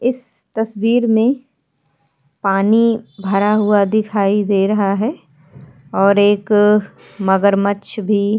इस तस्वीर में पानी भरा हुआ दिखाई दे रहा है और एक मगरमच्छ भी।